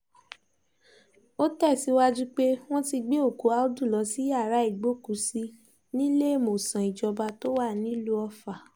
ó tẹ̀síwájú pé wọ́n ti gbé òkú àùdù lọ sí yàrá ìgbókùú-sí níléemọ́sàn ìjọba tó wà nílùú ọfà